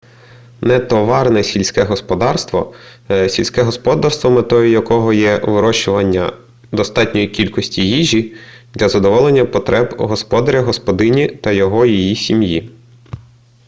нетоварне сільське господарство — сільське господарство метою якого є вирощування достатньої кількості їжі для задоволення потреб господаря/господині та його/її сім'ї